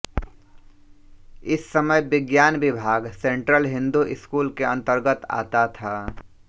इस समय विज्ञान विभाग सेंट्रल हिन्दू स्कूल के अन्तर्गत आता था